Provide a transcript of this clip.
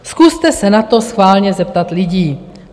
Zkuste se na to schválně zeptat lidí.